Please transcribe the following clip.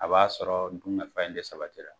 A b'a sɔrɔ dunkafa in de sabatira.